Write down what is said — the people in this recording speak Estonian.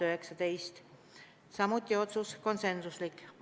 Otsused olid konsensuslikud.